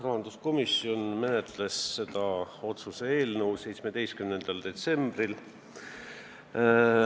Rahanduskomisjon menetles seda otsuse eelnõu 17. detsembril.